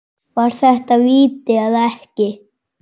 Var þetta víti eða ekki?